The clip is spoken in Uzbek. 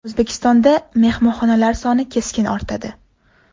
O‘zbekistonda mehmonxonalar soni keskin ortadi.